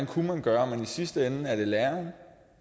kunne gøre men i sidste ende er det læreren